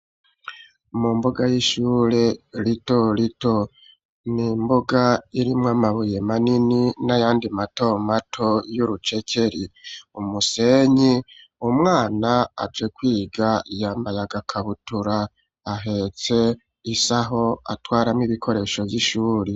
Mu mbuga y'ishure, rito rito, ni imbuga irimwo amabuye manini, n'ayandi mato mato, y'urucekeri; umusenyi, umwana aje kwiga, yambaye agakabutura; ahetse isaho, atwaramwo ibikoresho vy'ishuri.